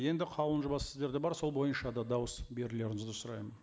енді қаулының жобасы сіздерде бар сол бойынша да дауыс берулеріңізді сұраймын